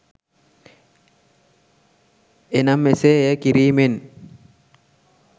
එනම් එසේ එය කිරීමෙන්